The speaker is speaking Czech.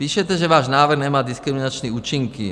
Píšete, že váš návrh nemá diskriminační účinky.